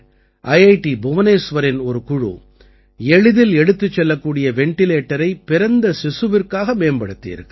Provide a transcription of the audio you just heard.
D புவனேஸ்வரின் ஒரு குழு எளிதில் எடுத்துச் செல்லக்கூடிய வெண்டிலேட்டரை பிறந்த சிசுவிற்காக மேம்படுத்தியிருக்கிறார்கள்